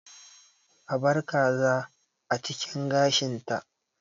A bar kaza a cikin gashinta.